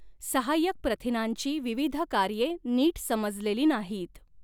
सहाय्यक प्रथिनांची विविध कार्ये नीट समजलेली नाहीत.